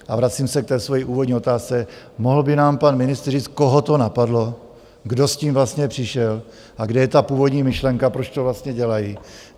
A vracím se k té svojí úvodní otázce: Mohl by nám pan ministr říct, koho to napadlo, kdo s tím vlastně přišel a kde je ta původní myšlenka, proč to vlastně dělají?